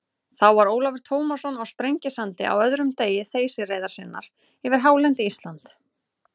Þá var Ólafur Tómasson á Sprengisandi á öðrum degi þeysireiðar sinnar yfir hálendi Íslands.